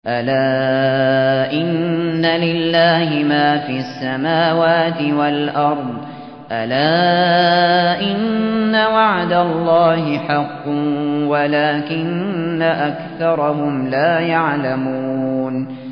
أَلَا إِنَّ لِلَّهِ مَا فِي السَّمَاوَاتِ وَالْأَرْضِ ۗ أَلَا إِنَّ وَعْدَ اللَّهِ حَقٌّ وَلَٰكِنَّ أَكْثَرَهُمْ لَا يَعْلَمُونَ